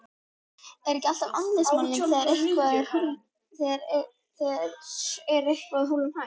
Er ekki alltaf andlitsmálning þegar er eitthvað húllumhæ?